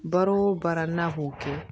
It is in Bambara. Baara o baara n'a k'o kɛ